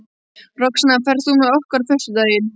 Roxanna, ferð þú með okkur á föstudaginn?